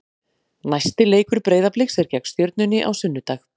Næsti leikur Breiðabliks er gegn Stjörnunni á sunnudag.